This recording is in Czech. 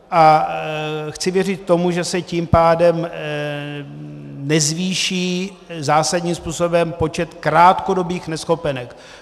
A chci věřit tomu, že se tím pádem nezvýší zásadním způsobem počet krátkodobých neschopenek.